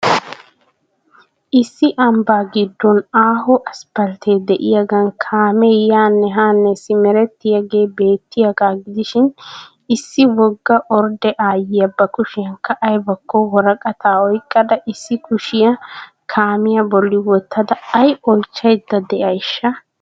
Issi ambbaa gidoon aaho aspalttee diyagaan kaamee yaanne haanne simeretyiyaagee bettiyagaa gidishiin issi wogga ordde aayiya ba kushiyankka aybbakko woraqataa oyqqada issi kushiyaa kaamiya bolli wottada ay oychchaydda de'ayshsha?